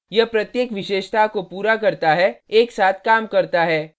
यह प्रत्येक विशेषता को पूरा करता है एक साथ काम करता है